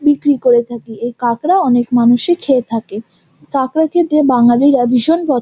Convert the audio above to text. বিক্রি করে থাকি এই কাঁকড়া অনেক মানুষই খেয়ে থাকে। কাঁকড়া খেতে বাঙালিরা ভীষণ প--